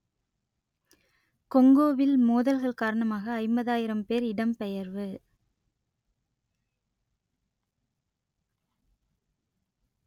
கொங்கோவில் மோதல்கள் காரணமாக ஐம்பதாயிரம் பேர் இடம்பெயர்வு